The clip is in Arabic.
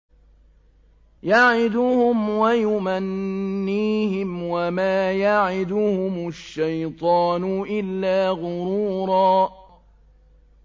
يَعِدُهُمْ وَيُمَنِّيهِمْ ۖ وَمَا يَعِدُهُمُ الشَّيْطَانُ إِلَّا غُرُورًا